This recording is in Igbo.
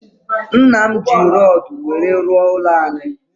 Nnam ji rodu nwere rụọ ụlọ anyi